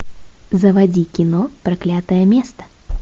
заводи кино проклятое место